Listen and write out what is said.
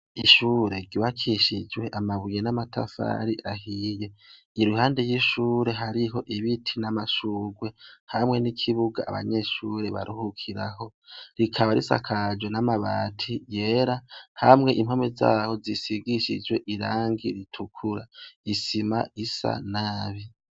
Ishure ryubakishijwe amabuye n'amatafari ahiye, iruhande y'ishure hariho ibiti n'amashugwe, hamwe n'ikibuga abanyeshure baruhukiraho, rikaba risakajwe n'amabati yera hamwe impome zaho zisigishijwe irangi ritukura, isima isa nabi.